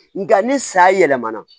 Nka ni sa yɛlɛmana